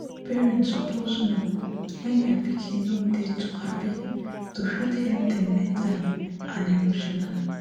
parents suppose know wen dia pikin no dey too happy to fit help dem mentally and emotionally